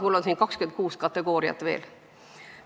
Mul on siin kirjas 26 kategooriat veel.